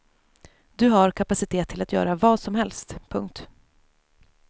Du har kapacitet till att göra vad som helst. punkt